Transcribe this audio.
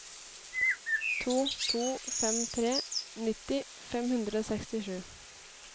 to to fem tre nitti fem hundre og sekstisju